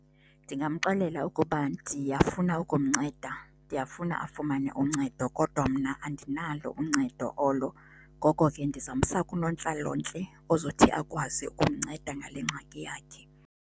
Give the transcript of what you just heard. Ndingamxelela ukuba ndiyafuna ukumnceda, ndiyafuna afumane uncedo kodwa mna andinalo uncedo olo. Ngoko ke, ndizawumsa kunontlalontle ozothi akwazi umnceda ngale ngxaki yakhe.